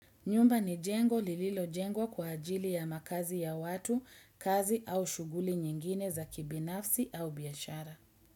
Nyumba ni jengo lililo jengwa kwa ajili ya makazi ya watu, kazi au shughuli nyingine za kibinafsi au biashara.